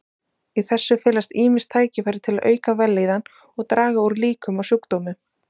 Í þessu felast ýmis tækifæri til að auka vellíðan og draga úr líkum á sjúkdómum.